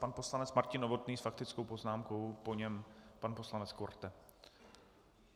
Pan poslanec Martin Novotný s faktickou poznámkou, po něm pan poslanec Korte.